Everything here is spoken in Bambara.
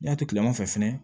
N y'a kileman fɛ fɛnɛ